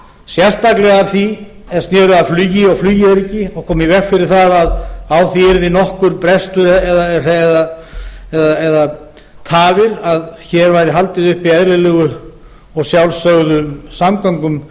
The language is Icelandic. sérstaklega það er sneri að flugi og flugöryggi og koma í veg fyrir að á því yrði nokkur brestur eða tafir að hér væri haldið uppi eðlilegum og sjálfsögðum samgöngum